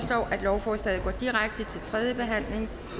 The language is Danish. lovforslaget går direkte til tredje behandling